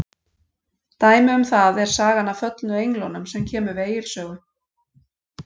Dæmi um það er sagan af föllnu englunum sem kemur við Egils sögu.